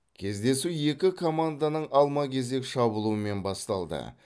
кездесу екі команданың алма кезек шабуылымен басталды